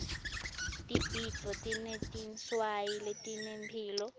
tibhidvo tinetinswayi letinemphilo